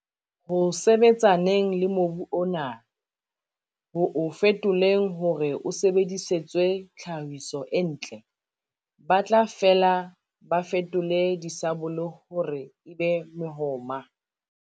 Ho sebetsaneng le mobu ona, ho o fetoleng hore o sebedisetswe tlhahiso e ntle, ba tla fela ba fetole disabole hore e be mehoma.